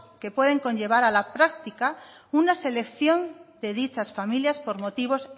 que puede conllevar a la práctica una selección de dichas familias por motivos